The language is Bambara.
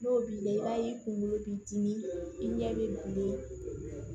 N'o b'i la i b'a ye i kunkolo b'i dimi i ɲɛ bɛ